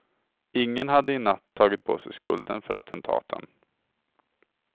Ingen hade i natt tagit på sig skulden för attentaten.